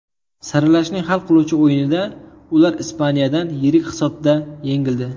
Saralashning hal qiluvchi o‘yinida ular Ispaniyadan yirik hisobda yengildi.